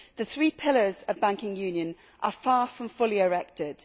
The three pillars of banking union are far from fully erected.